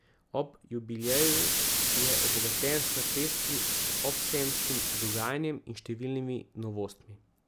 Ob jubileju je obogaten s pestrim obsejemskim dogajanjem in številnimi novostmi.